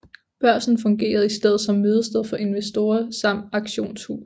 Børsen fungerede i stedet som mødested for investorer samt som auktionshus